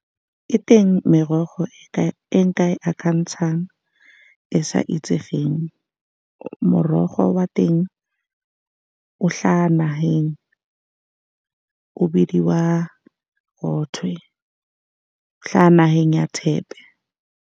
E teng, merogo e ka e nka e akantshang e sa itsegeng. Morogo wa teng o hlaha naheng, o bidiwa , o hlaha naheng ya tshepe.